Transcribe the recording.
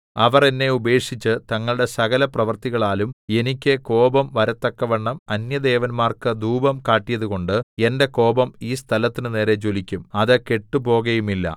അവർ എന്നെ ഉപേക്ഷിച്ച് തങ്ങളുടെ സകലപ്രവൃത്തികളാലും എനിക്ക് കോപം വരത്തക്കവണ്ണം അന്യദേവന്മാർക്ക് ധൂപം കാട്ടിയതുകൊണ്ട് എന്റെ കോപം ഈ സ്ഥലത്തിന്റെ നേരെ ജ്വലിക്കും അത് കെട്ടുപോകയുമില്ല